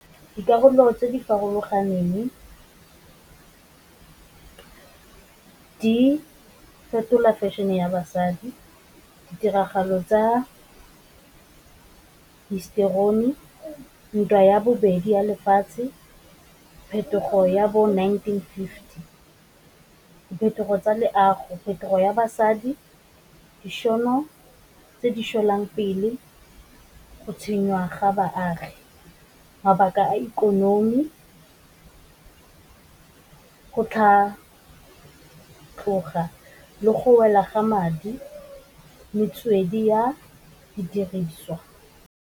Dikarolo tse di farologaneng, di fetola fashion-e ya basadi. Ditiragalo tsa histori ntwa ya bobedi ya lefatshe, phetogo ya bo nineteen fifty, diphetogo tsa leago, phetogo ya basadi, ga baagi, mabaka a ikonomi, go tlhatloga le go wela ga madi, metswedi ya didiriswa.